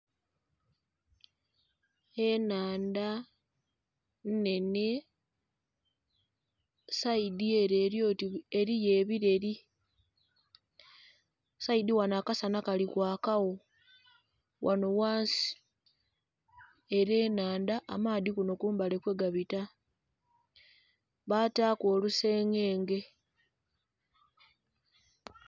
Ennhandha nnhenhe, sayidi ele eli oti eliyo ebileri, sayidi ghano akasana kalikwakawo ghano ghansi, ele nnhandha, amaadhi kuno kumbali kwegabita, baataku olusengenge.